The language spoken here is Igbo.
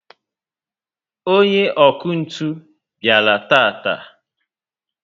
onye ọkụ ntụ bịara taata